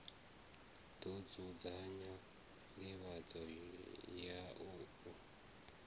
ḓo dzudzanya nḓivhadzo ya u